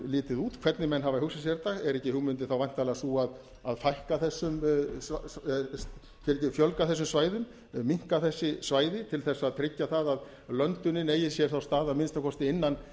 litið út hvernig menn hafa hugsað sér þetta er ekki hugmyndin þá væntanlega sú að fjölga þessum svæðum minnka þessi svæði til þess að tryggja það að löndunin eigi sér þá stað að minnsta kosti innan